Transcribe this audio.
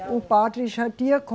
O padre já tinha